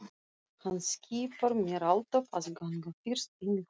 Hann skipar mér alltaf að ganga fyrst inn í hús